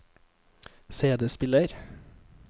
CD-spiller